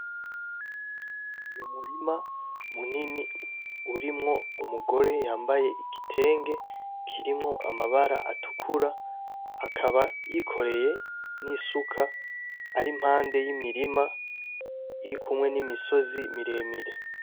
Ni umurima munini urimwo umugore yambaye igitenge kirimwo amabara atukura akaba yikoreye n'isuka ari impande y'imirima iri kumwe n'imisozi miremire.